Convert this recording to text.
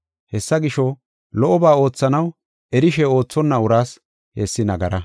Hessa gisho, lo77oba oothanaw erishe oothonna uraas hessi nagara.